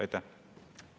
Aitäh!